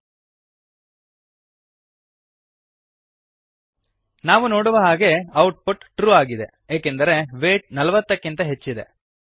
save ಮತ್ತು run ಮಾಡಿ ನಾವು ನೋಡುವ ಹಾಗೆ ಔಟ್ ಪುಟ್ ಟ್ರೂ ಟ್ರು ಆಗಿದೆ ಏಕೆಂದರೆ ವೈಟ್ ೪೦ ಕ್ಕಿಂತ ಹೆಚ್ಚಿದೆ